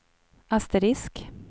asterisk